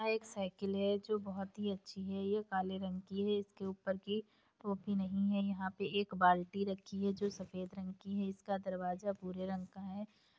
यह एक साइकिल है जो बहुत ही अच्छी है ये काले रंग की है इसके ऊपर की टोपी नहीं है यहाँ पे एक बाल्टी रखी है जो सफेद रंग की है इसका दरवाजा भूरे रंग का है।